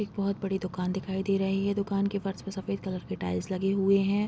एक बहुत बड़ी दुकान दिखाई दे रही है दुकान के फर्श पे सफ़ेद कलर के टाइल्स लगे हुए हैं।